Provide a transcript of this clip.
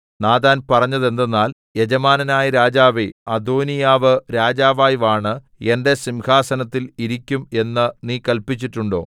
Nathan പറഞ്ഞതെന്തെന്നാൽ യജമാനനായ രാജാവേ അദോനീയാവ് രാജാവായി വാണ് എന്റെ സിംഹാസനത്തിൽ ഇരിക്കും എന്ന് നീ കല്പിച്ചിട്ടുണ്ടോ